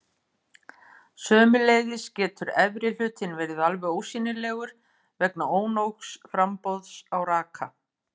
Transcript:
Sömuleiðis getur efri hlutinn verið alveg ósýnilegur vegna ónógs framboðs á raka.